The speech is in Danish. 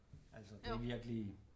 Altså det er virkelig